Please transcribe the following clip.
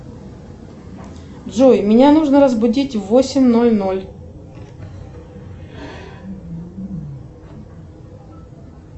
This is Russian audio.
джой меня нужно разбудить в восемь ноль ноль